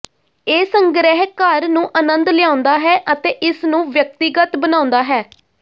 ਇਹ ਸੰਗ੍ਰਹਿ ਘਰ ਨੂੰ ਅਨੰਦ ਲਿਆਉਂਦਾ ਹੈ ਅਤੇ ਇਸਨੂੰ ਵਿਅਕਤੀਗਤ ਬਣਾਉਂਦਾ ਹੈ